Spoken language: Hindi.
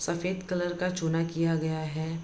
सफ़ेद कलर का चुना किया गया है।